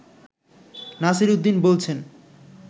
নাসিরউদ্দীন বলছেন